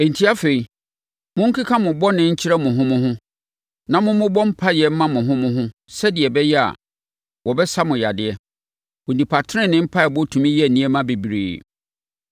Enti afei, monkeka mo bɔne nkyerɛ mo ho mo ho, na mommobɔ mpaeɛ mma mo ho mo ho sɛdeɛ ɛbɛyɛ a, wɔbɛsa mo yadeɛ. Onipa tenenee mpaeɛbɔ tumi yɛ nneɛma bebree.